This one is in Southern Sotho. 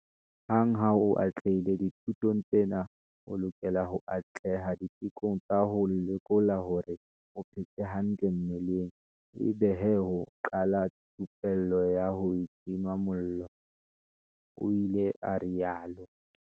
"Hang ha o atlehile dithutong tsena o lokela ho atleha ditekong tsa ho lekola hore o phetse hantle mmeleng ebe he ho qala thupello ya ho tima mollo," o ile a rialo.